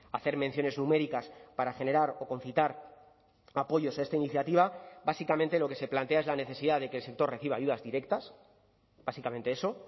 hacer menciones numéricas para generar o concitar apoyos a esta iniciativa básicamente lo que se plantea es la necesidad de que el sector reciba ayudas directas básicamente eso